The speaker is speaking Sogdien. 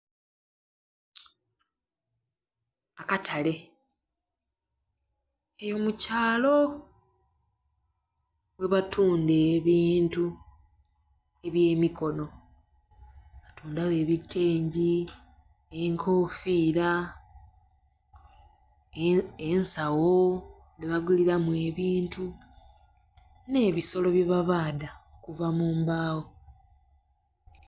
Akatale eyo mukyalo yebatunda ebintu ebyemikono nga ebitengi, enkofira, ensawo dhebaguliramu ebintu n'ebisolo byebabadha okuva mumbagho.